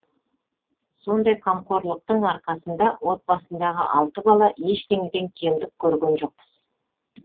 сондай қамқорлықтың арқасында отбасындағы алты бала ештеңеден кемдік көрген жоқпыз